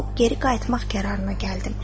Qorxub geri qayıtmaq qərarına gəldim.